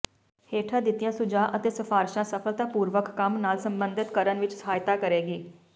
ਹੇਠਾਂ ਦਿੱਤੀਆਂ ਸੁਝਾਅ ਅਤੇ ਸਿਫ਼ਾਰਸ਼ਾਂ ਸਫਲਤਾਪੂਰਵਕ ਕੰਮ ਨਾਲ ਸੰਬਧਤ ਕਰਨ ਵਿੱਚ ਸਹਾਇਤਾ ਕਰੇਗੀ